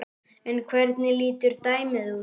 En hvernig lítur dæmið út?